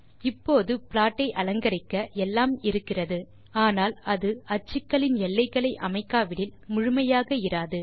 இப்போது ப்ளாட் ஐ அலங்கரிக்க எல்லாம் இருக்கிறது ஆனால் அது அச்சுக்களின் எல்லைகளை அமைக்காவிடில் முழுமையாக இராது